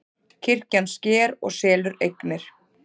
Kirkjan sker og selur eignir